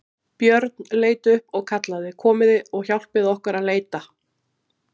Björn leit upp og kallaði:-Komiði og hjálpið okkur að leita!